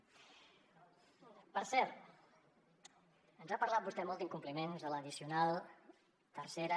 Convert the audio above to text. per cert ens ha parlat vostè molt d’incompliments de l’addicional tercera